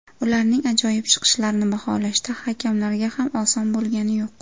Ularning ajoyib chiqishlarini baholashda hakamlarga ham oson bo‘lgani yo‘q.